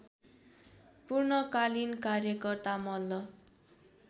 पूर्णकालीन कार्यकर्ता मल्ल